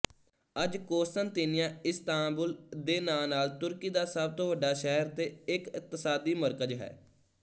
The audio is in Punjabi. ਅੱਜ ਕੋਸਤਨਤੀਨੀਆਇਸਤਾਂਬੁਲ ਦੇ ਨਾਂ ਨਾਲ ਤੁਰਕੀ ਦਾ ਸਭ ਤੋਂ ਵੱਡਾ ਸ਼ਹਿਰ ਤੇ ਇਕਤਸਾਦੀ ਮਰਕਜ਼ ਹੈ